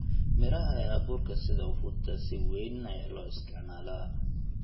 Midhaha ee abuurka sida ufuta si weyn ayaa loo isticmaalaa.